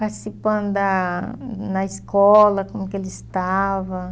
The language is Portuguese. Participando da na escola, como que eles estava.